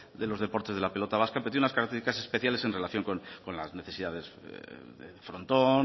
de los deportes de la pelota vasca pero tiene unas características especiales en relación con las necesidades del frontón